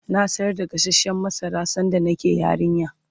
na sayar da gasashen masara sanda nake yarinya